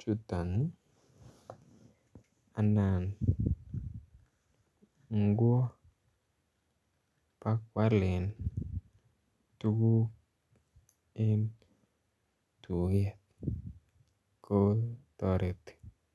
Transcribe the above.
chuton anan kwo pakwalen tukuk en tuket ko toreti.